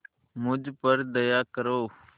मुझ पर दया करो